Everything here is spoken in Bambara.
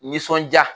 Nisɔndiya